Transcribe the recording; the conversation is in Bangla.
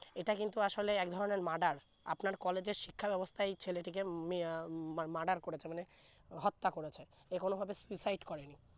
এটা কিন্তু আসলে এক ধরনে Murder আপনার college এর শিক্ষার অবস্থা এই ছেলেটিকে মি আহ মা¬ Murder করেছে মানে হত্যা করেছে এ কোন ভাবে suicide করে নি